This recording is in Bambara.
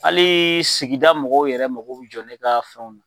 Hali sigida mɔgɔw yɛrɛ mako bɛ jɔ ne ka fɛnw na.